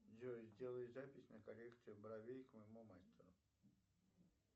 джой сделай запись на коррекцию бровей к моему мастеру